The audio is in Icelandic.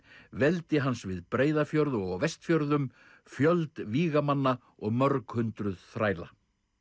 veldi hans við Breiðafjörð og á Vestfjörðum fjöld vígamanna og mörg hundruð þræla